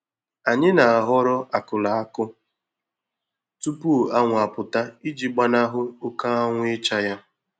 Anyị na-ahọrọ akụrụ akụ tupu anwụ apụta iji gbanahụ oké anwụ ịcha ya.